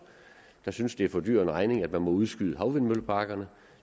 der synes det er for dyr en regning at man må udskyde havvindmølleparkerne